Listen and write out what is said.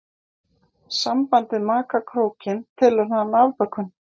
Sambandið maka krókinn telur hann afbökun.